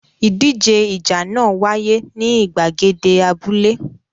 Ìdíje ìjà náà wáyé ní ìgbàgede abúlé.